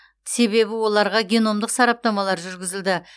себебі оларға геномдық сараптамалар жүргізілді